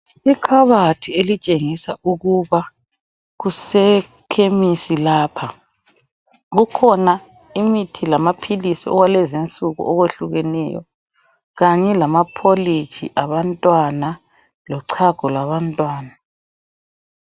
Ikhabathi elitshengisa ukuba kusekhemisi lapha. Kukhona imithi lamaphilisi okwalezinsuku okwehlukeneyo kanye lamapholiji abantwana lochago labantwana.